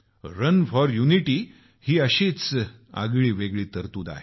run for unity ही सुद्धा अशीच आगळीवेगळी तरतूद आहे